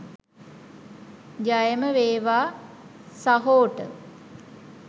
ජයම වේවා සහෝට .